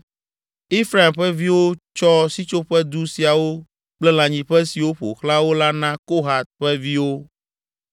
Efraim ƒe viwo tsɔ Sitsoƒedu siawo kple lãnyiƒe siwo ƒo xlã wo la na Kohat ƒe viwo: